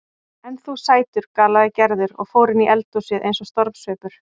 En þú sætur galaði Gerður og fór inni í eldhúsið eins og stormsveipur.